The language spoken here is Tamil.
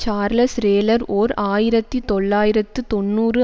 சார்லஸ் ரேலர் ஓர் ஆயிரத்தி தொள்ளாயிரத்து தொன்னூறு